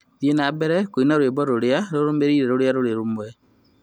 Thiĩ na mbere kũina rwĩmbo rũrũmĩrĩire rũrĩa rũrĩ rũmwe rũu